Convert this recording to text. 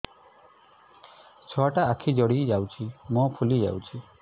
ଛୁଆଟା ଆଖି ଜଡ଼ି ଯାଉଛି ମୁହଁ ଫୁଲି ଯାଉଛି